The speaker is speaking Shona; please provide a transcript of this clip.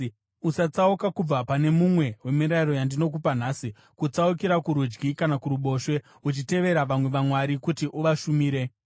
Usatsauka kubva pane mumwe wemirayiro yandinokupa nhasi, kutsaukira kurudyi kana kuruboshwe, uchitevera vamwe vamwari kuti uvashumire.